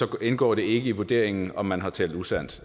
indgår det ikke i vurderingen om man har talt usandt